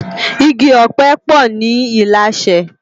Igi òpè po ni Ilashe